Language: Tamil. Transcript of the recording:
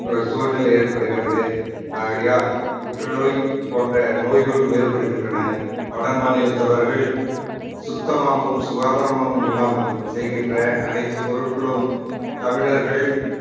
ஒரு சூழ்நிலை ஏற்படுகிறது ஆகையால் புற்றுநோய் போன்ற நோய்களும் ஏற்படுகின்றன வட மாநிலத்தவர்கள் சுத்தமாகவும் சுகாதாரமும் இல்லாமல் செய்கின்ற அனைத்து பொருட்களும் தமிழர்கள்